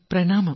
പ്രണാമം